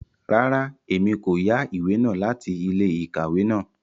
Rárá, Èmí ko yá ìwé náà láti ilé-íkàwe náà